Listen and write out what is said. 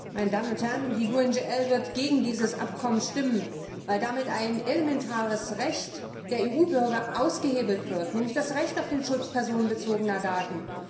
Herr Präsident! Meine Damen und Herren! Die GUE NGL Fraktion wird gegen dieses Abkommen stimmen, weil damit ein elementares Recht der EU Bürger ausgehebelt wird, nämlich das Recht auf den Schutz personenbezogener Daten.